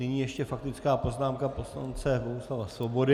Nyní ještě faktická poznámka poslance Bohuslava Svobody.